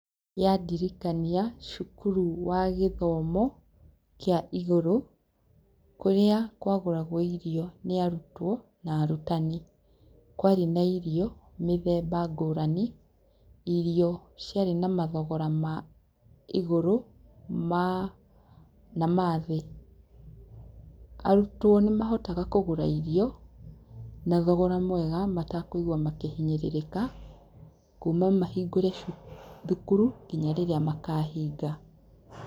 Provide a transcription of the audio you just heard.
Yandirikania cukuru wa gĩthomo kĩa igũrũ kũrĩa kwa gũragwo irio nĩ arutwo na arutani. Kwarĩ na irio mĩthemba ngũrani irio ciarĩ na mathogora ma igũrũ ma, na mathĩ. Arutwo nĩ mahotaga kũgũra irio na thogora mwega matakũigua makĩhinyĩrĩrĩka kuma mahingũre thukuru nginya rĩrĩa makahinga.